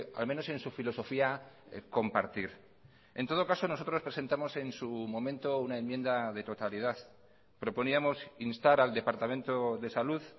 al menos en su filosofía compartir en todo caso nosotros presentamos en su momento una enmienda de totalidad proponíamos instar al departamento de salud